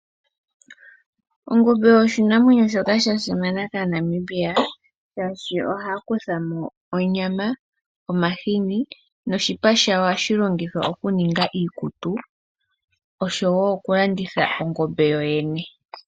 Ongombe oshinamwenyo shoka sha simana kaaNamibia shaashi ohaya kutha mo onyama, omahini noshipa shawo ohashi longithwa oku ninga iikutu osho woo oku landitha ongombe yoyene.